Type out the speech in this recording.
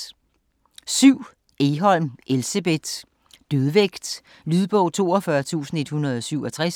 Egholm, Elsebeth: Dødvægt Lydbog 42167